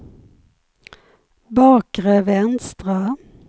bakre vänstra